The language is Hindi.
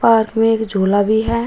और वे एक झूला भी है।